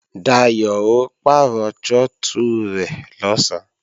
Dayò ó pàrọ̀ trọ́tù rẹ̀ lọ̀sán